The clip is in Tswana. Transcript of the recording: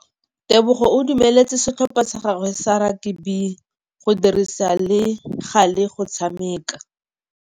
Tebogô o dumeletse setlhopha sa gagwe sa rakabi go dirisa le galê go tshameka.